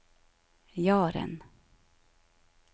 Jaren